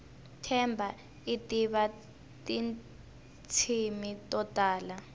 themba itiva tintshimi totala